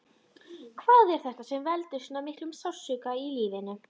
Hvað er þetta sem veldur svo miklum sársauka í lífinu?